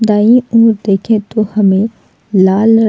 दाई ओर देखे तो हमें लाल र --